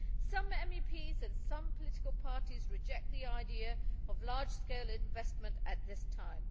Some MEPs and some political parties reject the idea of large scale investment at this time.